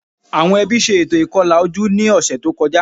Àwọn ẹbí ṣe ètò ìkọlà ojú ní ọ̀sẹ̀ tó kọjá